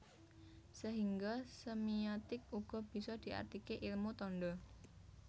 Sehingga semiotik uga bisa diartike ilmu tanda